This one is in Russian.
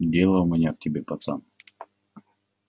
дело у меня к тебе пацан